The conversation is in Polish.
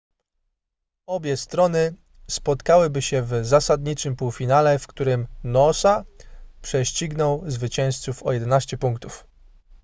obie strony spotkałyby się w zasadniczym półfinale w którym noosa prześcignął zwycięzców o 11 punktów